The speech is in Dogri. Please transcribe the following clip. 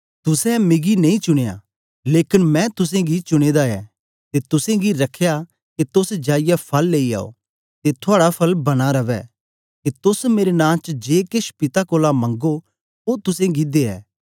तुसें मिगी नेई चुनयां लेकन मैं तुसेंगी चुने दा ऐ ते तुसेंगी रखया के तोस जाईयै फल लेई आओ ते थुआड़ा फल बना रवै के तोस मेरे नां च जे केछ पिता कोलां मंगो ओ तुसेंगी दे